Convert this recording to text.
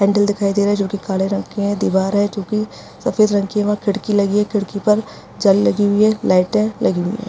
Handle दिखाई दे रही है जो की काले रंग की है दिवार है जो की सफ़ेद रंग की है वहाँ खिड़की लगी है खिड़की पर जाल लगी हुई है लाइट लगी हुई है।